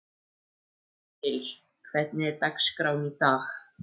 Hergils, hvernig er dagskráin í dag?